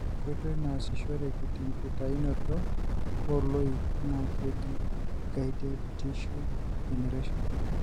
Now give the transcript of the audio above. enkoitoi nasishoreki tenkitayunoto oloik na keji gided tissue generation.